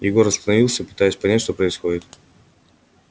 егор остановился пытаясь понять что происходит